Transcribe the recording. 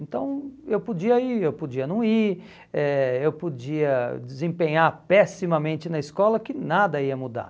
Então, eu podia ir, eu podia não ir, eh eu podia desempenhar pessimamente na escola, que nada ia mudar.